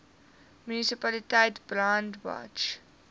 munisipaliteit brandwatch